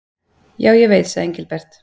Já, ég veit sagði Engilbert.